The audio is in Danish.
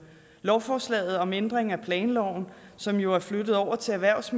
lovforslaget om ændring af planloven som jo er flyttet over til erhvervs